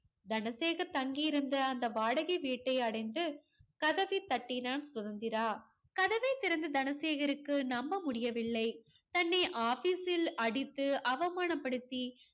தனசேகர் தங்கியிருந்த அந்த வாடகை வீட்டை அடைந்து கதவைத் தட்டினான் சுதந்திரா. கதவைத் திறந்த தனசேகருக்கு நம்ப முடியவில்லை. தன்னை office ல் அடித்து அவமானப்படுத்தி